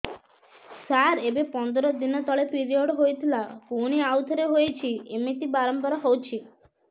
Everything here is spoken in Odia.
ସାର ଏବେ ପନ୍ଦର ଦିନ ତଳେ ପିରିଅଡ଼ ହୋଇଥିଲା ପୁଣି ଆଉଥରେ ହୋଇଛି ଏମିତି ବାରମ୍ବାର ହଉଛି